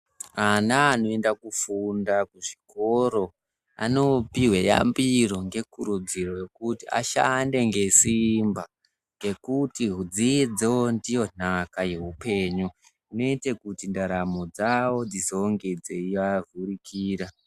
Ana anoenda kufunda kuzvikor o anopihwe yambiro ngekurudziro yekuti ashande ngesimba ngekuti dzidzo ndiyo nhaka yeupenyu. Inoita kuti ndaramo dzavo dzizonge dzeivavhurikira.